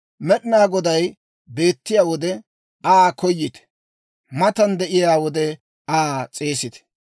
Med'inaa Goday beettiyaa wode Aa koyite; matan de'iyaa wode Aa s'eesite.